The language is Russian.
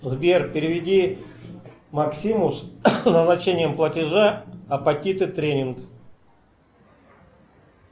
сбер переведи максиму с назначением платежа апатиты тренинг